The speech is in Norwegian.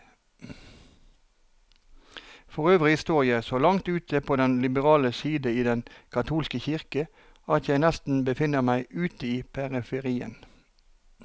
Forøvrig står jeg så langt ute på den liberale side i den katolske kirke, at jeg nesten befinner meg ute i periferien.